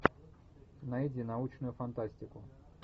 найди научную фантастику